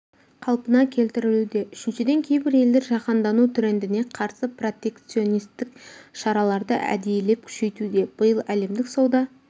қалпына келтірілуде үшіншіден кейбір елдер жаһандану трендіне қарсы протекционистік шараларды әдейілеп күшейтуде биыл әлемдік сауда